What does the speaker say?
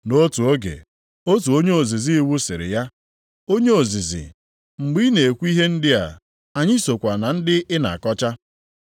Nʼotu oge, otu onye ozizi iwu sịrị ya, “Onye ozizi, mgbe ị na-ekwu ihe ndị a, anyị sokwa na ndị ị na-akọcha.”